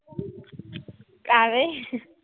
ਐਵੇਂ